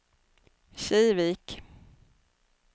Kivik